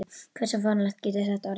Hversu fáránlegt getur þetta orðið?